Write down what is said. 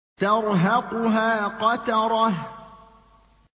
تَرْهَقُهَا قَتَرَةٌ